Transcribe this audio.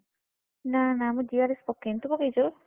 ନା ନା ମୁଁ GRS ପକେଇନି ତୁ ପକେଇଚୁ?